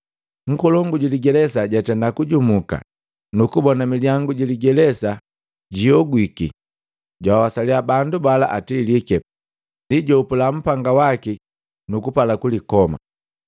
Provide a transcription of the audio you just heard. Nkolongu juligelesa jatenda kujumuka nukubona milyangu giligelesa ihogwiki, jawasaliya bandu bala atilike, ndi jahopula upanga waki nuku pala kulikoma.